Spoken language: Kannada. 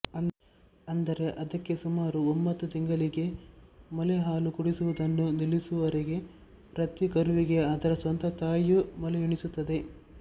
ಅಂದರೆ ಅದಕ್ಕೆ ಸುಮಾರು ಒಂಬತ್ತು ತಿಂಗಳಿಗೆ ಮೊಲೆ ಹಾಲು ಕುಡಿಸುವುದನ್ನು ನಿಲ್ಲಿಸುವವರೆಗೆ ಪ್ರತಿ ಕರುವಿಗೆ ಅದರ ಸ್ವಂತ ತಾಯಿಯು ಮೊಲೆಯುಣಿಸುತ್ತದೆ